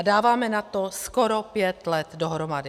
A dáváme na to skoro pět let dohromady.